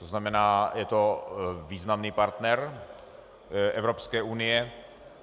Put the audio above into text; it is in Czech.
To znamená, je to významný partner Evropské unie.